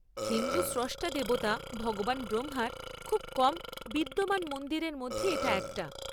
হিন্দু স্রষ্টা দেবতা ভগবান ব্রহ্মার খুব কম বিদ্যমান মন্দিরের মধ্যে এটা একটা।